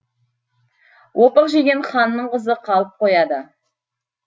опық жеген ханның қызы қалып қояды